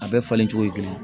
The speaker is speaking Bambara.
A bɛɛ falen cogo ye kelen ye